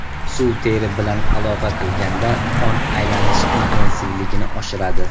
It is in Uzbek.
Suv teri bilan aloqa qilganda qon aylanish intensivligini oshiradi.